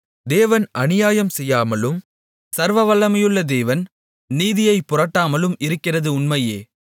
தேவன் அநியாயம் செய்யாமலும் சர்வவல்லமையுள்ள தேவன் நீதியைப் புரட்டாமலும் இருக்கிறது உண்மையே